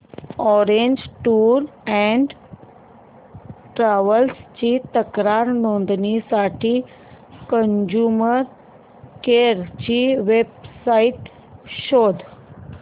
orange Tours and Travels ची तक्रार नोंदवण्यासाठी कंझ्युमर कोर्ट ची वेब साइट शोध